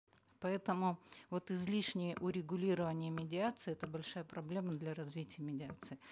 поэтому вот излишнее урегулирование медиации это большая проблема для развития медиации